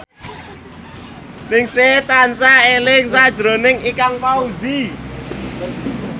Ningsih tansah eling sakjroning Ikang Fawzi